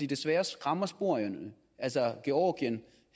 desværre skræmmer sporene altså i georgien